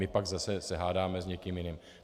My pak zase se hádáme s někým jiným.